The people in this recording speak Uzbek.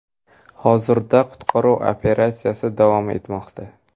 Hozirda qutqaruv operatsiyasi davom etmoqda.